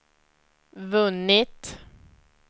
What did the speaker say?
vunnit